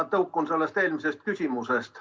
Ma tõukun eelmisest küsimusest.